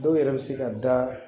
Dɔw yɛrɛ bɛ se ka da